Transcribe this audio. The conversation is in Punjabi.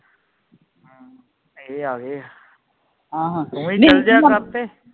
ਇਹ ਆ ਗਏ ਆ ਤੂੰ ਵੀ ਚਲ ਜਾਇਆ ਕਰ ਤੇ